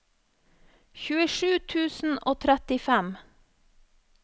tjuesju tusen og trettifem